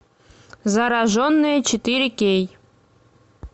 зараженные четыре кей